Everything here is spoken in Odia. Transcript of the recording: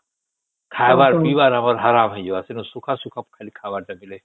ଖାଇବାର ପୀବର ଆମର ପୁରା ହଇରାଣ ହେଇଯିବ ଖାଲି ଶୁଖା ଶୁଖା ଖାଲି ଖାଇବାର ଦେଲେ